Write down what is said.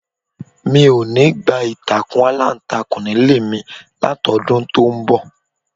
Mi ò ní gba ìtàkùn aláǹtakùn nílé mi látọdún tó ń bọ̀.